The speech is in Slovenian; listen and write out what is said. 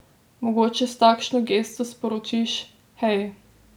Mogoče s takšno gesto sporočiš: 'Hej!